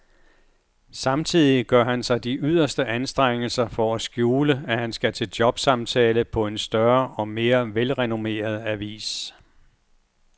Samtidig gør han sig de yderste anstrengelser for at skjule, at han skal til jobsamtale på en større og mere velrenommeret avis.